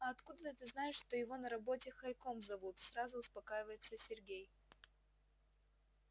а откуда ты знаешь что его на работе хорьком зовут сразу успокаивается сергей